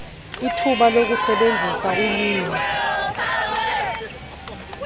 ithuba lokusebenzisa ulwimi